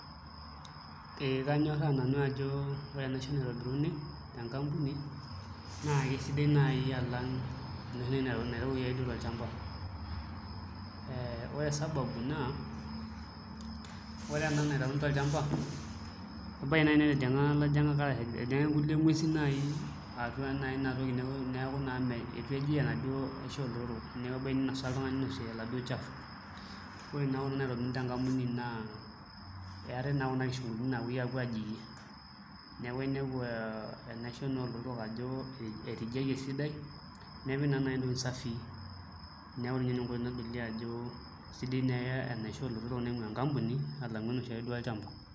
Kanyoraa nanu ajo, ore enaisho naitobiruni te nkampuni naa keisidai naii alang, ne lelo irkeek lo lchamba, ore esababu naa ore en naitauni to lchamba, embaye ina natinga lajing'ak ejing ake nkule inguesi naii atua naa inatoki neaku naaa ore ake piinosa oltungani unusual olchafu ore naa enaisho naitobiri top nkampunini naa eatae taa kuna kishopo naapoi aapo ajingie neaku eniapu enaisho ajo etijiaiye sidai, nepiki nai ineweji usafi naku ore ninye ineweji naa keiliyop ajo esidai nimye enaisho naingua enkampuni alangu enoshi ake olchamba.